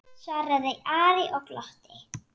svaraði Ari og glotti.